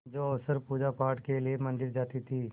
जो अक्सर पूजापाठ के लिए मंदिर जाती थीं